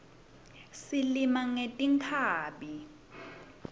silima ngetinkhabi